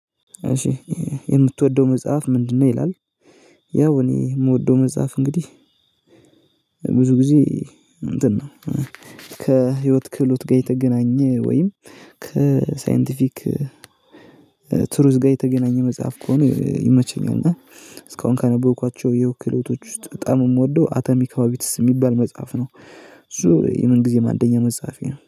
እሺ የምትወደው መጽሐፍ ምንድነው? ይላል ያው እኔ የምወደው መጽሐፍ እንግዲህ ብዙ ጊዜ እንትን ነው ከህይወት ክህሎት ጋር የተገናኘ ወይም ከሳይንቲፊክ ቱሩዝ ጋር የተገናኘ መጽሐፍ ከሆነ ይመቸኛል። እና እስካሁን ካነበብኳቸው የህይወት ክህሎቶች ውስጥ በጣም የምወደው አተሚ ካባቢትስ የሚባል መጽሐፍ ነው። እሱ የምን ጊዜም አንደኛ መጽሐፌ ነው